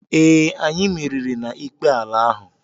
Ee, anyị merìrì na-ikpe ala ahụ.